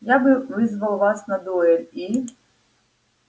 я бы вызвала вас на дуэль и